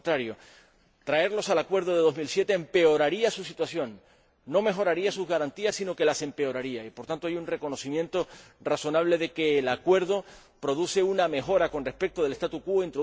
Por el contrario, retrotraerlos al acuerdo de 2007 empeoraría su situación, no mejoraría sus garantías sino que las empeoraría y, por tanto, hay un reconocimiento razonable de que el acuerdo produce una mejora, con respecto al statu quo